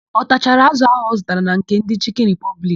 Ọ tachara ázụ̀ áhụ̀ ọ zụtara na nke ndị Chịkịn Ripọbliki?